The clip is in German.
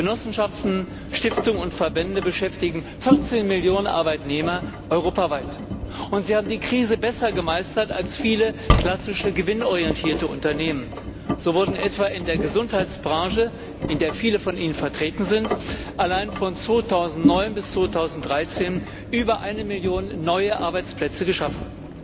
Genossenschaften, Stiftungen und Verbände beschäftigen 14 Millionen Arbeitnehmer europaweit, und sie haben die Krise besser gemeistert als viele klassische gewinnorientierte Unternehmen. So wurden etwa in der Gesundheitsbranche, in der viele von ihnen vertreten sind, allein von 2009 bis 2013 über eine Million neue Arbeitsplätze geschaffen.